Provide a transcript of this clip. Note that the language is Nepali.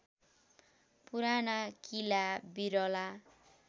पुराना किला बिरला